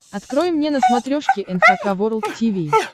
открой мне на смотрешке эн эйч кей волд ти ви